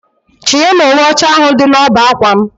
Chinye m uwe ocha ahụ dị na ọbá ákwà m